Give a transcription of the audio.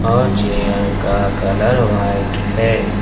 और चेयर का colour white है।